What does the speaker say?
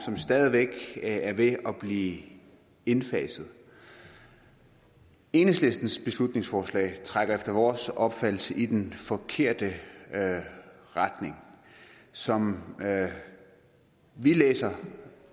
som stadig væk er ved at blive indfaset enhedslistens beslutningsforslag trækker efter vores opfattelse i den forkerte retning som vi læser